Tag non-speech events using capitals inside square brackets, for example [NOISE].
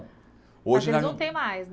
Hoje. [UNINTELLIGIBLE] Não tem mais, né?